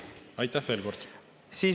Ei näe küsimusi.